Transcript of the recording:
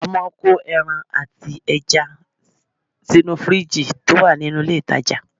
A máa ń kó ẹran àti ẹja sínú fìríìjì tó wà nínú ilé ìtajà